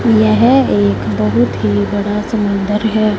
यह एक बहुत ही बड़ा समुंदर है।